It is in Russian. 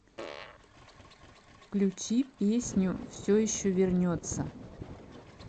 включи песню все еще вернется